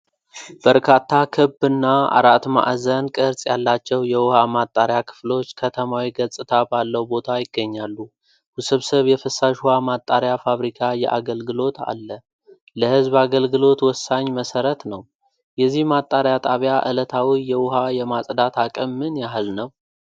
በርካታ ክብና አራት ማዕዘን ቅርጽ ያላቸው የውሃ ማጣሪያ ክፍሎች ከተማዊ ገጽታ ባለው ቦታ ይገኛሉ። ውስብስብ የፍሳሽ ውሃ ማጣሪያ ፋብሪካ የአገልግሎት አለ። ለህዝብ አገልግሎት ወሳኝ መሠረት ነው። የዚህ ማጣሪያ ጣቢያ ዕለታዊ የውሃ የማጽዳት አቅም ምን ያህል ነው?